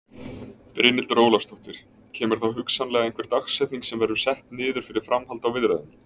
Brynhildur Ólafsdóttir: Kemur þá hugsanlega einhver dagsetning sem verður sett niður fyrir framhald á viðræðum?